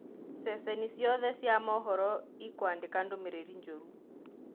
Ceceni ciothe cia mohoro ikwandika ndũmĩrĩri njũru.